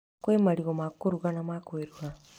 Kwĩ marigũ ma kũruga na ma kwĩruha.